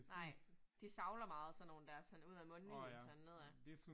Nej, de savler meget sådan nogle dér sådan ud af mundvigen sådan ned af